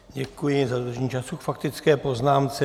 Děkuji za dodržení času k faktické poznámce.